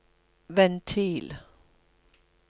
ventil